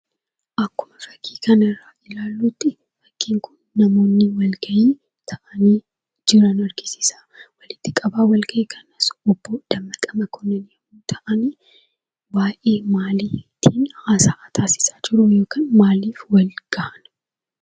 Akkuma fakkii kanarraa ilaallutti, fakkiin kun namoonni walgayii irra jiran argisiisa. Walitti qabaan walgayii kanaas obbo Dammaqaa Mokonnin yoo ta'an, waayee maalii haasawaa taasisaa jiruu yookaan maaliif wal gahan?